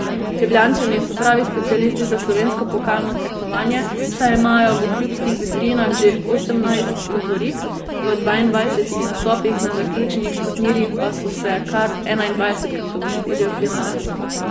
Ljubljančani so pravi specialisti za slovensko pokalno tekmovanje, saj imajo v klubskih vitrinah že osemnajst lovorik, v dvaindvajsetih nastopih na zaključnih turnirjih pa so se kar enaindvajsetkrat uvrstili v finale.